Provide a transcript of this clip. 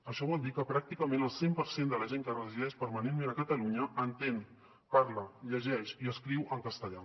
això vol dir que pràcticament el cent per cent de la gent que resideix permanentment a catalunya entén parla llegeix i escriu en castellà